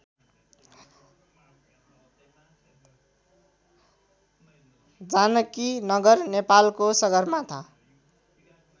जानकीनगर नेपालको सगरमाथा